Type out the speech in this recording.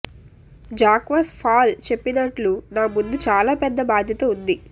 Jacques Fall చెప్పినట్లు నా ముందు చాలా పెద్ద బాధ్యత ఉంది